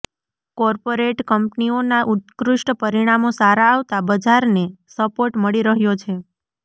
corporate કંપનીઓના ઉત્કૃષ્ઠ પરિણામો સારા આવતા બજારને સપોર્ટ મળી રહ્યો છે